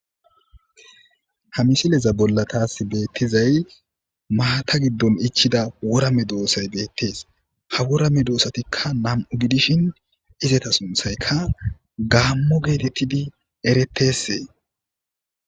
Ha misileza bolla taas beettizay maata giddon ichida worame doossay beettees ha worame doossatikka nam'u gidishin izata sunthaykka gaammo geetettidi erettessee.